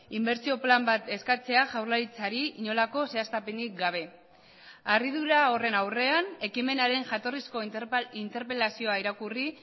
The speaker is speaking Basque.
inbertsio plan bat eskatzea jaurlaritzari inolako zehaztapenik gabe harridura horren aurrean ekimenaren jatorrizko interpelazioa irakurri